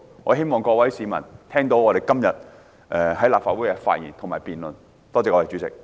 我希望各位市民能聽到我們今天在立法會上的發言和辯論。